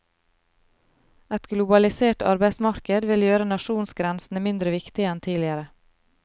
Et globalisert arbeidsmarked vil gjøre nasjonsgrensene mindre viktige enn tidligere.